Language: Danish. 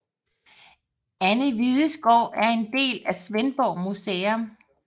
Anne Hvides Gård er en del af Svendborg Museum